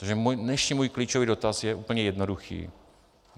Takže dnešní můj klíčový dotaz je úplně jednoduchý.